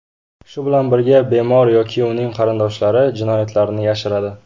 Shu bilan birga, bemor yoki uning qarindoshlari jinoyatlarni yashiradi.